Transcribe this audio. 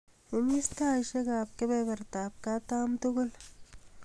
imis taisiek ap kebebertab katam tugul